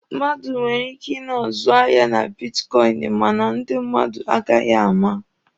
Mmadụ nwere ike ị na-azụ ahịa na bitkọịnị mana ndị mmadụ agaghị ama.